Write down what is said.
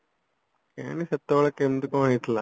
କେଜାଣି ସେତେବେଳେ କେମତି କଣ ହେଇଥିଲା